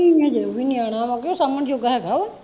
ਨਹੀਂ ਅਜੇ ਉਹ ਵੀ ਨਿਆਣਾ ਵੇ ਕਿ ਸਾਂਬਣ ਜੋਗਾ ਹੈਗਾ ਵਾ